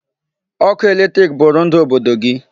Ọkụ electric bụrụ ndụ obodo gị.